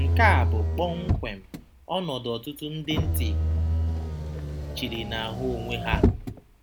Nke a bụ kpọmkwem ọnọdụ ọtụtụ ndị ntị chiri na-ahụ onwe ha.